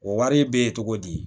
O wari bɛ ye cogo di